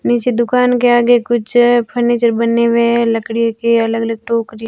नीचे दुकान के आगे कुछ फर्नीचर बनने मे लकड़ी की अलग अलग टोकरी--